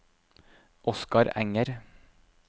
Oskar Enger